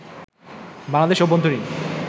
বাংলাদেশ অভ্যন্তরীণ